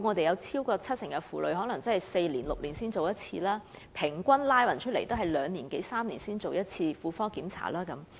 有超過七成婦女每隔4年至6年才檢查1次，平均則每2年至3年進行1次婦科檢查。